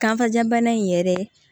Kankajabana in yɛrɛ